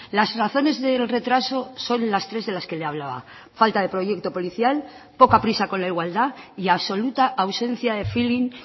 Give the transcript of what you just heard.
las razones del retraso son las tres de las que le hablaba falta de proyecto policial poca prisa con la igualdad y absoluta ausencia de feeling